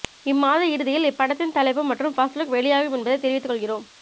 இம்மாத இறுதியில் இப்படத்தின் தலைப்பு மற்றும் ஃபர்ஸ்ட் லுக் வெளியாகும் என்பதை தெரிவித்துக் கொள்கிறோம்